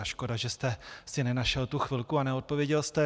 A škoda, že jste si nenašel tu chvilku a neodpověděl jste.